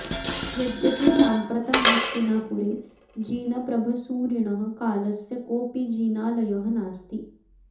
यद्यपि साम्प्रतं हस्तिनापुरे जिनप्रभसूरिणः कालस्य कोऽपि जिनालयः नास्ति